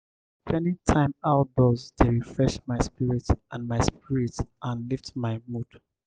spending time outdoors dey refresh my spirit and my spirit and lift my mood.